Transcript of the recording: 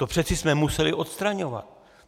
To přeci jsme museli odstraňovat.